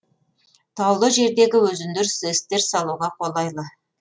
таулы жердегі өзендер сэс тер салуға қолайлы